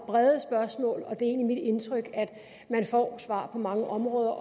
brede spørgsmål og det er egentlig mit indtryk at man får svar på mange områder